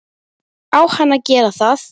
Ætlar hann aldrei að vakna?